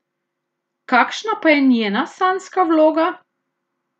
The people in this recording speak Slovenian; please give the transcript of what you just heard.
Kakšna pa je njena sanjska vloga?